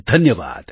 ધન્યવાદ